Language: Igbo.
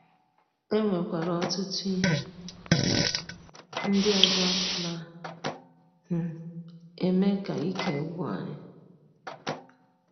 E nwekwara ọtụtụ ihe um ndị ọzọ na um - eme ka ike gwụ anyị.